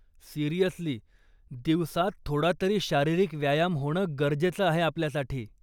Seriously, दिवसात थोडातरी शारीरिक व्यायाम होणं गरजेचं आहे आपल्यासाठी.